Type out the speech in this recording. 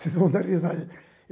Vocês vão dar risada.